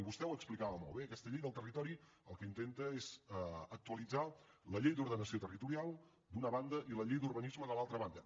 vostè ho explicava molt bé aquesta llei del territori el que intenta és actualitzar la llei d’ordenació territorial d’una banda i la llei d’urbanisme de l’altra banda